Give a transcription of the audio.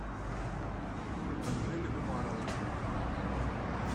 анжеле умаровой